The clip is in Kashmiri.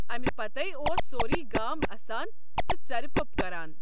اَمہِ پَتَے اوس سورُے گام اَسان تہٕ ژَرِ پوٚپ کَران۔